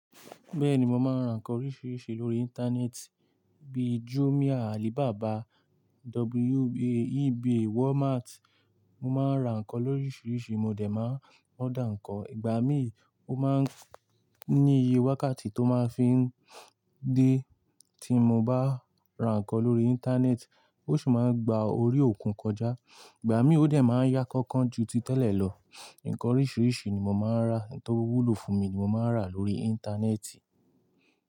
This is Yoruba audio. Bẹ́ẹ̀ni, mo máa ń ra ǹkan oríṣiríṣi lórí íńtánẹ́ẹ̀tì bíi Jumia, Alibaba, WA, eBay, Walmart. Mo máa ń ra ǹkan lóríṣiríṣi, mo dẹ̀ máa ń order ǹkan. Ìgbà míì, ó máa ń ní iye wákàtí tó máa ń fi ń dé tí mo bá ra ǹkan lórí íńtánẹ́ẹ̀tì, ó sì máa ń gba orí òkun kọjá. Ìgbà míì, ó dẹ̀ máa ń yá kánkán ju ti tẹ́lẹ̀ lọ. Ǹkan oríṣiríṣi ni mo máa ń ra, ohun tó wú lò fún mi ni mo máa ń rà lórí íńtánẹ́ẹ̀tì.